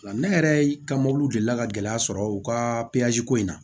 Ne yɛrɛ ka mobiliw delila ka gɛlɛya sɔrɔ u ka ko in na